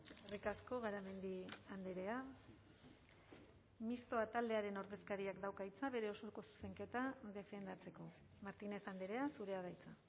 eskerrik asko garamendi andrea mistoa taldearen ordezkariak dauka hitza bere osoko zuzenketa defendatzeko martínez andrea zurea da hitza